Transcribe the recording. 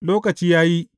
Lokaci ya yi.